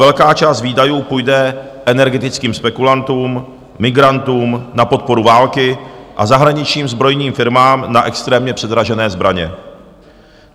Velká část výdajů půjde energetickým spekulantům, migrantům, na podporu války a zahraničním zbrojním firmám na extrémně předražené zbraně.